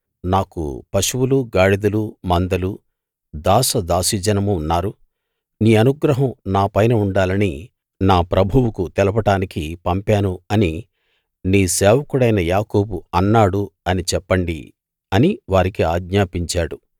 నాకు పశువులూ గాడిదలూ మందలూ దాసదాసీజనమూ ఉన్నారు నీ అనుగ్రహం నాపైనఉండాలని నా ప్రభువుకు తెలపడానికి పంపాను అని నీ సేవకుడైన యాకోబు అన్నాడు అని చెప్పండి అని వారికి ఆజ్ఞాపించాడు